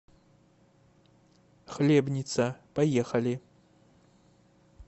хлебница поехали